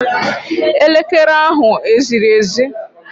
Elekere ahu eziri ezi?